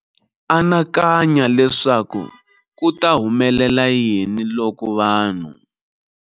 Anakanya leswaku ku ta humelela yini loko vanhu.